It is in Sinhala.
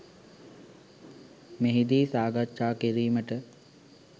මෙහිදී සාකච්ඡා කිරීමට